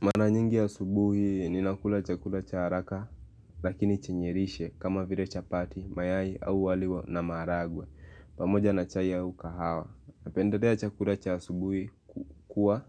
Mara nyingi ya asubuhi ninakula chakula cha haraka lakini chenye lishe kama vire chapati mayai au wali wa na maharagwe pamoja na chai au kahawa. Napendelea chakula cha asubuhi kuwa